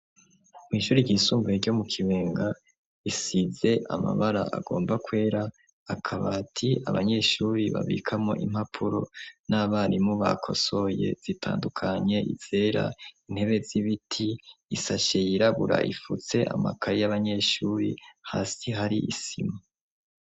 Mw'ishuri ryisumbuye ryo mu kibenga isize amabara agomba kwera akaba ati abanyeshuri babikamo impapuro n'abarimu ba kosoye zitandukanye izera intebe z'ibiti isashe yirabura ifutse amakayi y'abanyeshuri hasi hari isima.